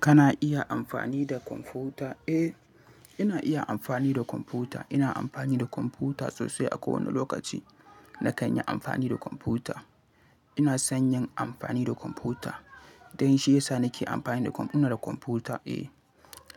Kana iya amfani da kwamfuta? Eh, ina iya amfani da kwamfuta. Ina amfani da kwamfuta sosai a kowane lokaci. Na kan yi amfani da kwamfuta. Ina son yin amfani da kwamfuta. Dan shi yasa nake amfani da kwam-- ina da kwamfuta. Eh,